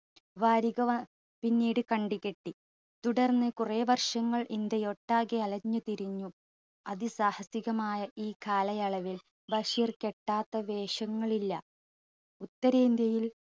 വാരിക വ പിന്നീട് കണ്ടു കിട്ടി. തുടർന്ന് കുറെ വർഷങ്ങൾ ഇന്ത്യ ഒട്ടാകെ അലഞ്ഞു തിരിഞ്ഞു അതിസാഹസികമായ ഈ കാലയളവിൽ ബഷീർ കെട്ടാത്ത വേഷങ്ങളില്ല. ഉത്തരേന്ത്യയിൽ